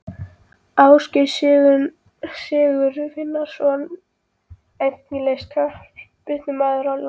Ásgeir Sigurvinsson Efnilegasti knattspyrnumaður landsins?